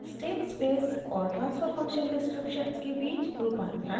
* state space और transfer function descriptions के बीच रूपांतरण